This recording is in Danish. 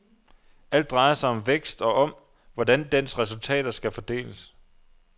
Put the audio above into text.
Alt drejer sig om vækst og om, hvordan dens resultater skal fordeles.